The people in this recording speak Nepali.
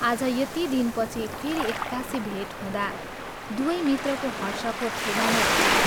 आज यति दिनपछि फेरि एक्कासि भेट हुँदा दुवै मित्रको हर्षको ठेगाना रहेन।